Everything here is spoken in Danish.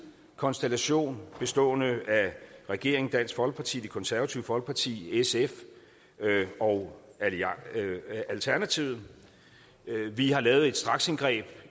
konstellation bestående af regeringen dansk folkeparti det konservative folkeparti sf og alternativet vi har lavet et straksindgreb